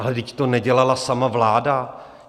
- Ale vždyť to nedělala sama vláda.